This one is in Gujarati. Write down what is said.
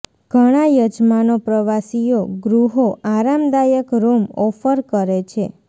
ઘણા યજમાનો પ્રવાસીઓ ગૃહો આરામદાયક રૂમ ઓફર કરે છે